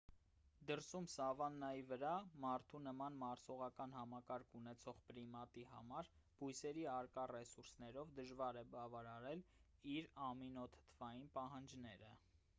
դրսում սավաննայի վրա մարդու նման մարսողական համակարգ ունեցող պրիմատի համար բույսերի առկա ռեսուրսներով դժվար է բավարարել իր ամինոթթվային պահանջները